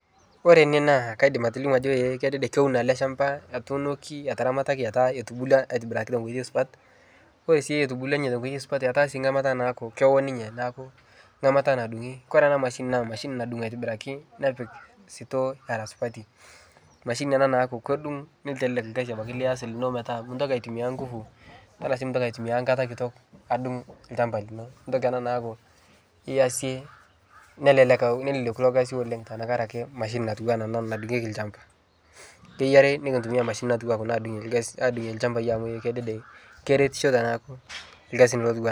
Ore ene naa kaidim atilimu ajo eh kedede keiuno ale shamba etuunoki, etaramataki etaa etubulwa atibiraki teng'oji supat, kore sii etubulwa ninye teng'oji supat etaa sii ng'amata naaku kewo ninye naaku ng'amata nadung'i, kore ana mashini naa mashini nadung' aitibiraki nepik sitoo era supati, mashini ana naaku kedung' netelelek lgasi abaki lias lino metaa mintoki aitumiyaa ngufu tanaa sii mintoki nkata kitok adung' lchamba lino ntoki ana naaku iyiase nelelek ake neleleku ilo gasi oleng' tankare ake mashini natuwana ana nadung'eki lchamba, keyiari nikitumiyaa mashinini natuwaa kuna nadung'eki lgasi adung'e lchambai amuu ee kedede keretisho teneaku lgasin lotuwa.